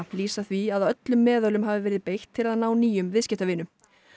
lýsa því að öllum meðölum hafi verið beitt til að ná nýjum viðskiptavinum